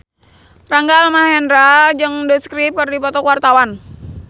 Rangga Almahendra jeung The Script keur dipoto ku wartawan